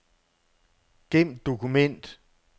Gem dokument.